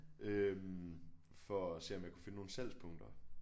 Øh for at se om jeg kunne finde nogle salgspunkter